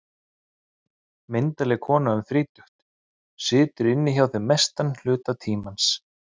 Ljósmóðirin, myndarleg kona um þrítugt, situr inni hjá þeim mestan hluta tímans.